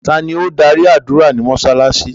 Tani o n darí ádùra ni mósálásí?